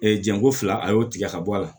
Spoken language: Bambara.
jɛnko fila a y'o tigɛ ka bɔ a la